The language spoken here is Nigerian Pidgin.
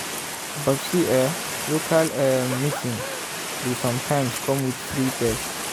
but see eh local um meeting dey sometimes come with free test.